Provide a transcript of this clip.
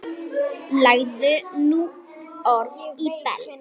Lagði nú orð í belg.